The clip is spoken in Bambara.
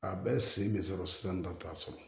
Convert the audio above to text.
A bɛɛ sen bɛ sɔrɔ sisan da t'a sɔrɔ